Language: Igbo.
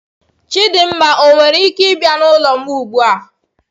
Chidinma owere ike bia n'ulo m ugbua?